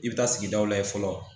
I bɛ taa sigidaw layɛ fɔlɔ